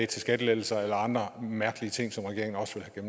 til skattelettelser eller andre mærkelige ting som regeringen også vil